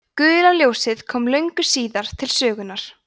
gula ljósið kom löngu síðar til sögunnar